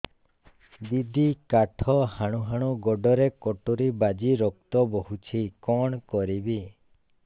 ଦିଦି କାଠ ହାଣୁ ହାଣୁ ଗୋଡରେ କଟୁରୀ ବାଜି ରକ୍ତ ବୋହୁଛି କଣ କରିବି